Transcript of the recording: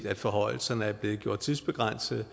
at forhøjelserne er blevet gjort tidsbegrænsede